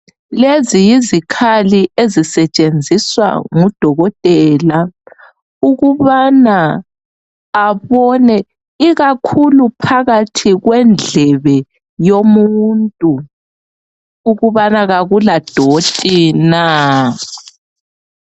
Lezi yizikhali ezisetshenziswa ngudokotela ukubana abone ikakhulu phakathi kwendlebe yomuntu ukubana kakuladoti na.